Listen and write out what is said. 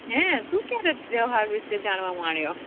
હે તુ કયારે તહેવાર વિશે જાણવા માળીયો